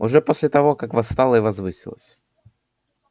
уже после того как восстала и возвысилась